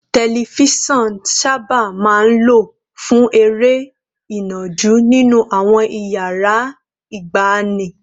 Tẹlifíṣọ̀n sábà máa ń lò fún eré ìnàjú nínú àwọn iyàrá ìgbàanì